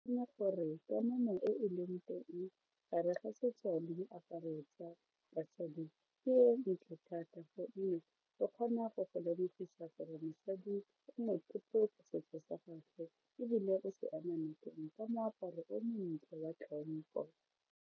Gore kamano e e leng teng gare ga setso le diaparo tsa basadi ke e ntle thata gonne e kgona go go lemogisa gore mosadi o motlotlo ka setso sa gagwe ebile o se ema nokeng ka moaparo o montle wa tlhompho.